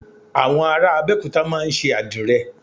Àwọn ará Abẹ́òkúta máa ń ṣe Àdìrẹ